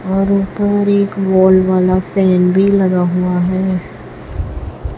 और ऊपर एक वॉल वाला पेन भी लगा हुआ है।